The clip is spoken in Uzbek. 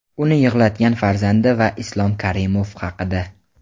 uni yig‘latgan farzandi va Islom Karimov haqida.